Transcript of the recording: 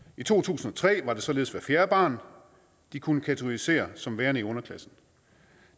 i to tusind og tre var det således hvert fjerde barn de kunne kategorisere som værende i underklassen